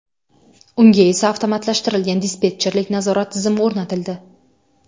Unga esa avtomatlashtirilgan dispetcherlik nazorat tizimi o‘rnatildi.